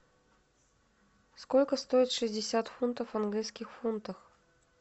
сколько стоит шестьдесят фунтов в английских фунтах